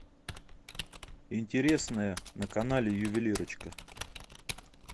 интересное на канале ювелирочка